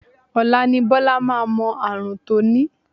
Ọ̀la ni Bọ́lá máa mọ ààrùn tó ní